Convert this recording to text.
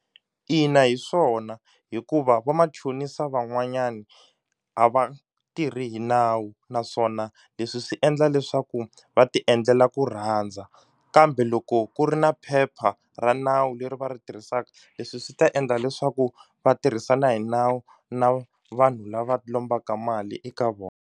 Ina hi swona hikuva va machonisa van'wanyani a va tirhi hi nawu naswona leswi swi endla leswaku va ti endlela ku rhandza kambe loko ku ri na phepha ra nawu leri va ri tirhisaka leswi swi ta endla leswaku va tirhisana hi nawu na vanhu lava lombaka mali eka vona.